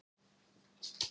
Hrunið bitnaði á kirkjunni